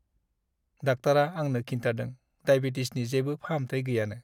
डाक्टारा आंनो खिन्थादों डायबेटिसनि जेबो फाहामथाइ गैयानो।